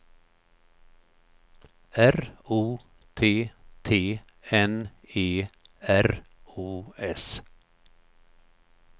R O T T N E R O S